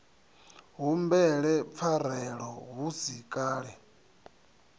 humbele pfarelo hu si kale